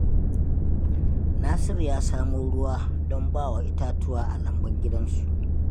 Nasiru ya samo ruwa don ba wa itatuwa a lambun gidansu.